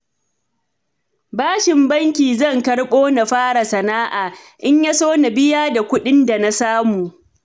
Bashin banki zan karɓo na fara sana'a, in ya so na biya da kuɗin da na samu